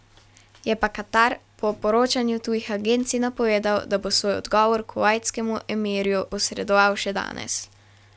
Je pa Katar po poročanju tujih agencij napovedal, da bo svoj odgovor kuvajtskemu emirju posredoval še danes.